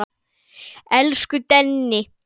Elsku Denni.